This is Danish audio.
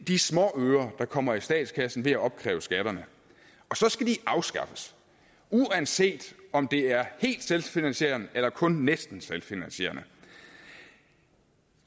de småøre der kommer i statskassen ved at opkræve skatterne og så skal de afskaffes uanset om det er helt selvfinansierende eller kun næsten selvfinansierende